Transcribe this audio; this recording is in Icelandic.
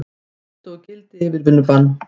Felldu úr gildi yfirvinnubann